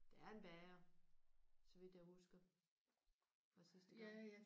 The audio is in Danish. Der er en bager så vidt jeg husker fra sidste gang